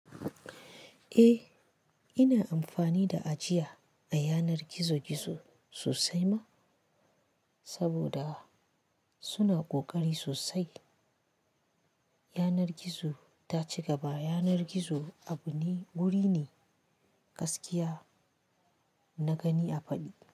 Eh ina amfani da ajiya a yanar gizo-gizo sosai ma saboda suna ƙoƙari sosai. Yanar gizo ta cigaba yanar gizo abu ne, wuri ne gaskiya na gani a faɗi.